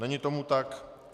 Není tomu tak.